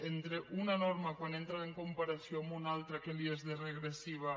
entre una norma quan entra en comparació amb una altra què li és de regressiva